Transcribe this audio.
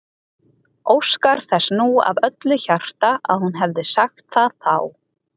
Óskar þess nú af öllu hjarta að hún hefði sagt það þá.